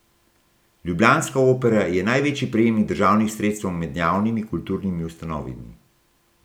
Ljubljanska Opera je največji prejemnik državnih sredstev med javnimi kulturnimi ustanovami.